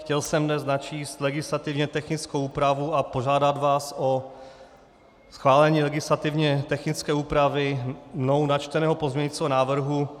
Chtěl jsem dnes načíst legislativně technickou úpravu a požádat vás o schválení legislativně technické úpravy mnou načteného pozměňujícího návrhu.